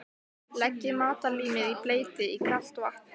Leggið matarlímið í bleyti í kalt vatn.